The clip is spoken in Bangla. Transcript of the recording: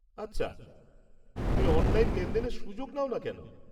আচ্ছা, তুমি অনলাইন লেনদেনের সুযোগ নাও না কেন?